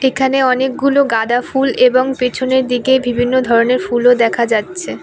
এখানে অনেকগুলো গাঁদা ফুল এবং পেছনের দিকে বিভিন্ন ধরনের ফুলও দেখা যাচ্ছে।